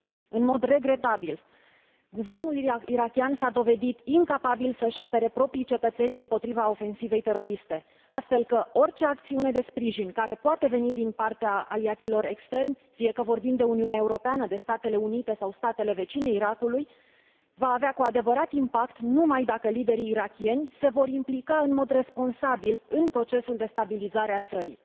În mod regretabil, guvernul irakian s a dovedit incapabil să își apere propriii cetățeni împotriva ofensivei teroriste, astfel că orice acțiune de sprijin care poate veni din partea aliaților externi, fie că vorbim de Uniunea Europeană, de Statele Unite sau statele vecine Irakului, va avea cu adevărat impact numai dacă liderii irakieni se vor implica în mod responsabil în procesul de stabilizare a țării.